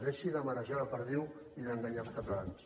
deixi de marejar la perdiu i d’enganyar els catalans